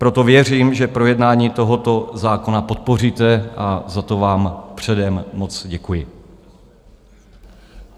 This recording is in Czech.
Proto věřím, že projednání tohoto zákona podpoříte, a za to vám předem moc děkuji.